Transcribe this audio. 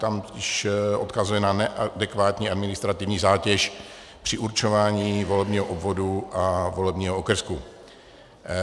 Tam odkazuje na neadekvátní administrativní zátěž při určování volebního obvodu a volebního okrsku.